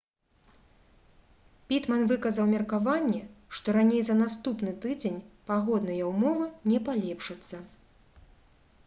пітман выказаў меркаванне што раней за наступны тыдзень пагодныя ўмовы не палепшацца